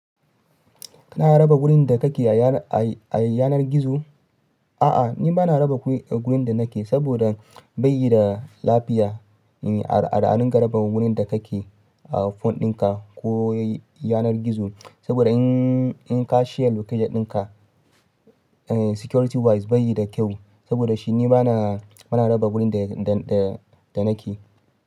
Kana raba wurin da kake a yanar gizo? A'a, ni bana raba wurin da nake saboda, bai da lafiya. Al'adun raba wurin da kake a phone dinka ko yanar gizo saboda in ka share location dinka security wise bai yi da kyau, saboda shi ni bana raba wurin da nake.